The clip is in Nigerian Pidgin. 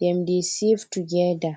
dem dey save together